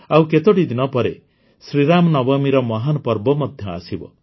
ଆଉ କେତୋଟି ଦିନ ପରେ ଶ୍ରୀରାମ ନବମୀର ମହାନ୍ ପର୍ବ ମଧ୍ୟ ଆସିବ